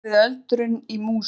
Snúa við öldrun í músum